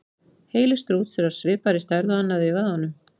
Heili strúts er af svipaði stærð og annað augað á honum.